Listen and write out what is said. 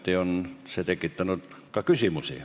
Ometi on see tekitanud ka küsimusi.